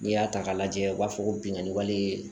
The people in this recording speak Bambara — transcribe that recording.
N'i y'a ta k'a lajɛ u b'a fɔ ko binkani wale